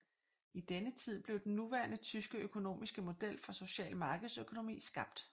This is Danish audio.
I denne tid blev den nuværende tyske økonomiske model for social markedsøkonomi skabt